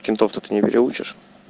кентов то ты не переучишь